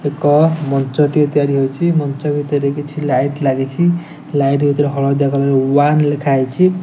ଏକ ମଞ୍ଚଟିଏ ତିଆରି ହୋଇଚି। ମଞ୍ଚ ଭିତରେ କିଛି ଲାଇଟ ଲାଗିଚି। ଲାଇଟ ଭିତରେ ହଳଦିଆ କଲର୍ ର ୱାନ୍ ଲେଖା ହେଇଚି।